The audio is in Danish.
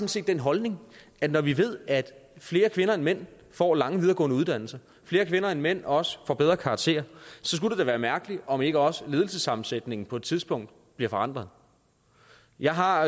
set den holdning at når vi ved at flere kvinder end mænd får lange videregående uddannelser at flere kvinder end mænd også får bedre karakterer så skulle det da være mærkeligt om ikke også ledelsessammensætningen på et tidspunkt bliver forandret jeg har